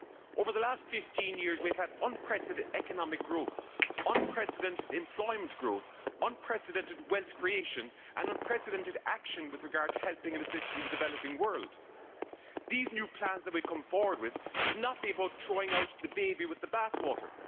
Over the last 15 years we have had unprecedented economic growth, unprecedented employment growth, unprecedented wealth creation and unprecedented action with regard to helping and assisting the developing world. These new plans that we come forward with should not be about throwing out the baby with the bath water.